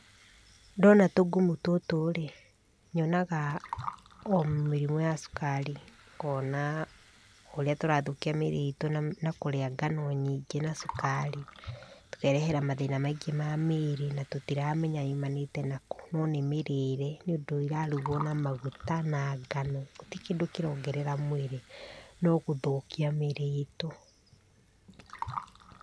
Ndona tungumu tũtũ-rĩ, nyonaga o mĩrimũ ya cukari, ngona ũrĩa tũrathũkia mĩĩrĩ itũ na kũria ngano nyingĩ na cukari, tũkerehera mathĩna maingĩ ma mĩĩrĩ, na tũtiramenya yumanĩte nakũ, no nĩ mĩrĩre, nĩ ũndũ irarigwo na maguta, na ngano. Gũtirĩ kĩndũ kĩrongerera mwĩrĩ, no gũthũkia mĩĩrĩ itũ.